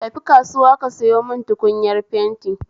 Tafi kasuwa ka sayo mun tukunyar fenti